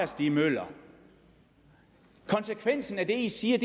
stig møller konsekvensen af det i siger